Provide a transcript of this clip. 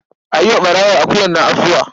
A yi wa ɓarawon akuyar nan afuwa.